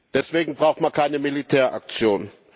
Deswegen braucht man keine Militäraktion.